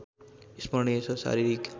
स्मरणिय छ शारीरिक